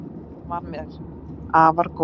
Hann var mér afar góður.